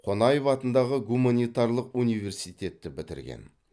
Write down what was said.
қонаев атындағы гуманитарлық университетті бітірген